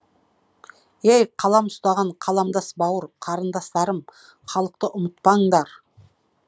ей қалам ұстаған қаламдас бауыр қарындастарым халықты ұмытпаңдар